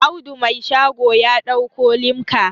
Audu Mai shago ya dauko limka